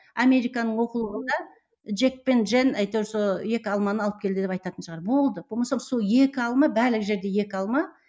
американың оқулығында джек пен джен әйтеуір сол екі алманы алып келді деп айтатын шығар болды болмаса сол екі алма барлық жерде екі алма